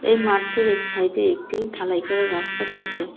এই মাঠটির এক ছাইডে একটি ঢালাই করা রাস্তা রয়েছে .